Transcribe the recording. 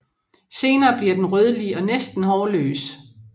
Senere bliver den rødlig og næsten hårløs